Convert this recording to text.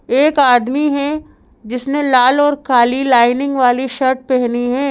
एक आदमी है जिसने लाल और काली लाइनिंग वाली शर्ट पहनी है।